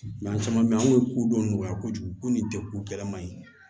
Mɛ an caman bɛ yen an kun ye kodɔn nɔgɔya kojugu ko nin kɛ ko gɛlɛma ye